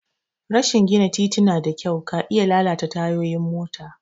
Rashi gina tituna da kyau ka iya lalata tayoyin mota.